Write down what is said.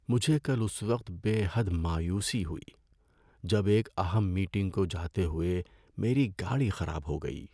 مجھے کل اس وقت بے حد مایوسی ہوئی جب ایک اہم میٹنگ کو جاتے ہوئے میری گاڑی خراب ہو گئی۔